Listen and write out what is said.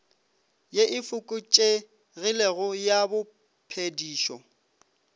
ye e fokotšegilego ya bophedišo